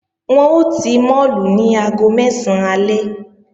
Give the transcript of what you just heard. Wọ́n ó ti máàlù ní aago mẹ́sán alẹ́